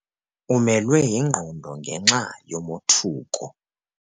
Umelwe yingqondo ngenxa yomothuko.